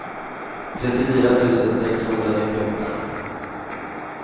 trettiofyra tusen sexhundranittioåtta